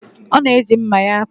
Ọ na-eji mma ya apụ.